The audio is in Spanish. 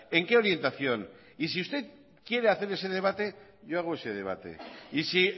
en qué orientación y sí usted quiere hacer ese debate yo hago ese debate y si